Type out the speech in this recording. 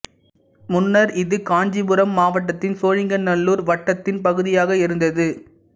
முன்னர் இது காஞ்சிபுரம் மாவட்டத்தின் சோழிங்கநல்லூர் வட்டத்தின் பகுதியாக இருந்தது